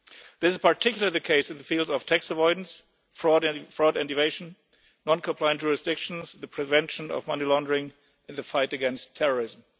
This is particularly the case in the fields of tax avoidance, fraud and evasion, non compliant jurisdictions, the prevention of money laundering and the fight against terrorism.